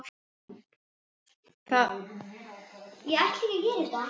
Það leynir sér ekki að hann er yfirsmiður.